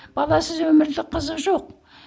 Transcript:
баласыз өмірде қызық жоқ